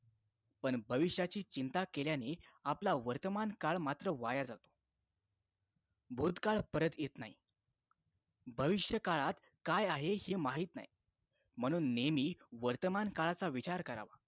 पण भविष्याची चिंता केल्याने आपला वर्तमान काळ मात्र वाया जातो भूतकाळ परत येत नाही भविष्यकाळात काय आहे हे माहित नाही म्हणून नेहमी वर्तमान काळाचा विचार करावा